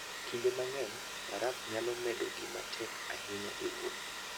Kinde mang'eny, baraf nyalo bedo gima tek ahinya e wuoth.